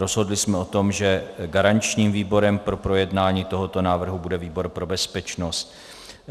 Rozhodli jsme o tom, že garančním výborem pro projednání tohoto návrhu bude výbor pro bezpečnost.